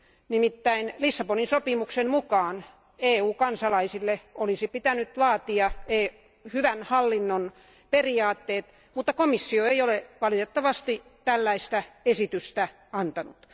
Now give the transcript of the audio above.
Nimittäin Lissabonin sopimuksen mukaan EU kansalaisille olisi pitänyt laatia hyvän hallinnon periaatteet, mutta komissio ei ole valitettavasti tällaista esitystä antanut.